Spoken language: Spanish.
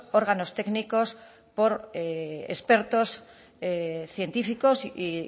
órganos técnicos por expertos científicos y